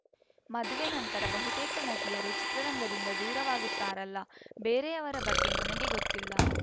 ಮದುವೆ ನಂತರ ಬಹುತೇಕ ನಟಿಯರು ಚಿತ್ರರಂಗದಿಂದ ದೂರವಾಗುತ್ತಾರಲ್ಲ ಬೇರೆಯವರ ಬಗ್ಗೆ ನನಗೆ ಗೊತ್ತಿಲ್ಲ